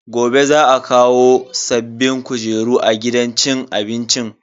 Gobe za a kawo sabbin kujeru a gidan cin abincin.